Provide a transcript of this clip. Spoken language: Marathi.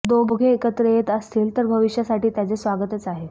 दोघे एकत्र येत असतील तर भविष्यासाठी त्याचे स्वागतच आहे